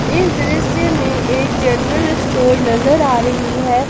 इस दृश्य में एक जनरल स्टोर नजर आ रही है।